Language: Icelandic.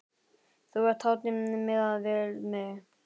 Þú ert hátíð miðað við mig.